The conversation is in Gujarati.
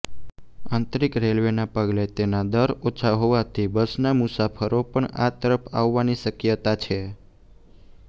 આંતરીક રેલ્વેના પગલે તેના દર ઓછા હોવાથી બસના મુસાફરો પણ આ તરફ આવવાની શક્યતા છે